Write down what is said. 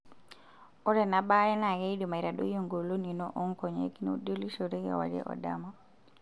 Ore ena baare naa keidim aitadoi engolon ino oonkonyek nuidolishore kewarie o dama.